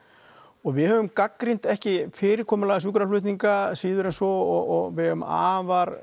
og við höfum gagnrýnt ekki fyrirkomulagi sjúkraflutninga síður en svo og við eigum afar